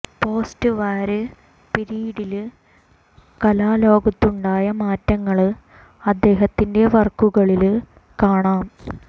post war പിരീഡില് കലാ ലോകത്തുണ്ടായ മാറ്റങ്ങള് അദ്ദേഹത്തിന്റെ വര്ക്കുകളില് കാണാം